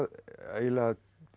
eiginlega